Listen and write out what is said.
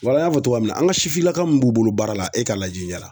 Wa an y'a fɔ cogo min na an ŋa sifilaka mun b'u bolo baara la e k'a laj'i ɲɛ na